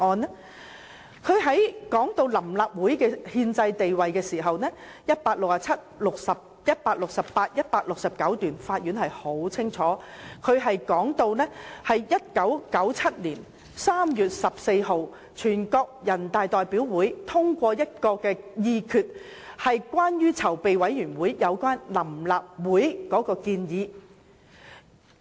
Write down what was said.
法院判詞在談到臨時立法會的憲制地位時，在第167、168及169段清楚指出1997年3月14日，全國人民代表大會議決接納籌備委員會有關成立臨立會的建議。